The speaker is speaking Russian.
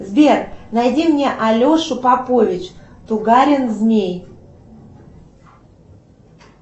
сбер найди мне алешу попович тугарин змей